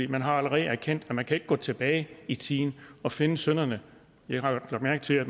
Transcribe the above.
man har allerede erkendt at man ikke kan gå tilbage i tiden og finde synderne jeg har lagt mærke til at